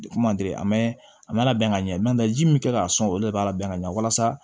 Kuma man deli mɛ a ma labɛn ka ɲɛ ji min kɛ ka sɔn o de b'a labɛn ka ɲɛ walasa